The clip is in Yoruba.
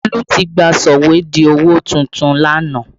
Olu tí gba sọ̀wédowó tuntun lánàá